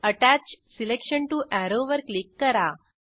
अत्तच selection to arrow वर click करा